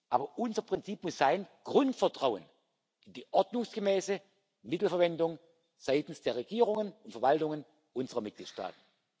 Aber unser Prinzip muss sein Grundvertrauen in die ordnungsgemäße Mittelverwendung seitens der Regierungen und Verwaltungen unserer Mitgliedstaaten.